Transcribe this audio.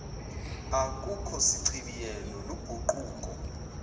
akukho sichibiyelo luguquko